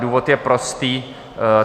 Důvod je prostý.